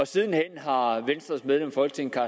sidenhen har venstres medlem af folketinget